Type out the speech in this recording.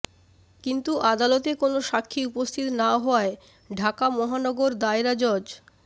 কিন্তু আদালতে কোনো সাক্ষী উপস্থিত না হওয়ায় ঢাকা মহানগর দায়রা জজ